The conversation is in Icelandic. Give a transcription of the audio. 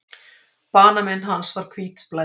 Banamein hans var hvítblæði.